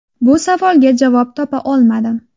Bu savolga javob topa olmadim.